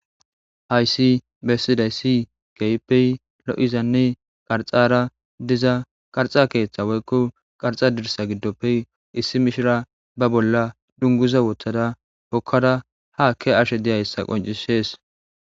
Haysibbesidays keehippe lo'izanne qarxara diza qarxa keetha woyko qarxa dirsa gidoppe issi mishira ba bolla dunguza wothada hokada ha ke'ashe diyaysa qoncises